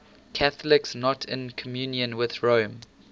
catholics not in communion with rome